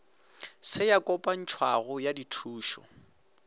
se ya kopantšhwago ya dithušo